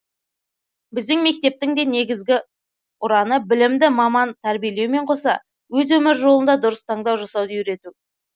біздің мектептің де негізі ұраны білімді маман тәрбиелеумен қоса өз өмір жолында дұрыс таңдау жасауды үйрету